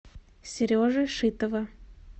сережи шитова